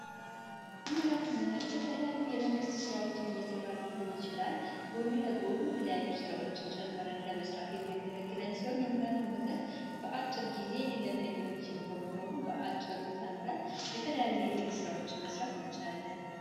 የሙያ ትምህርት የተለያዩ የመንግስት ስራዎችን እየሰራን ሊሆን ይችላል ጎን ለጎን ለጎን የተለያዩ ስራዎችን ጨምረን ለመስራት የሚያገለግለን ሲሆን። የሙያ ትምህርት በአጭር ጊዜ የሚለመድ በመሆኑ በአጭሩ ተምረን የተለያዩ የግል ስራዎችን መስራት እንችላለን።